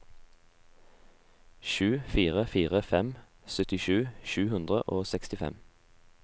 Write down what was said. sju fire fire fem syttisju sju hundre og sekstifem